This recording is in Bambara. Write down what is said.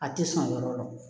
A tɛ sɔn yɔrɔ dɔn